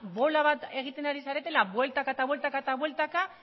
bola bat egiten ari zaretela bueltaka eta bueltaka